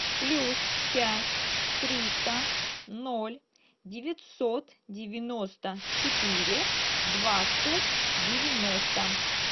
плюс пять триста ноль девятьсот девяносто четыре двадцать девяносто